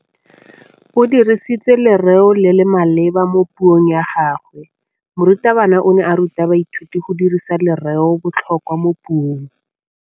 O dirisitse lerêo le le maleba mo puông ya gagwe. Morutabana o ne a ruta baithuti go dirisa lêrêôbotlhôkwa mo puong.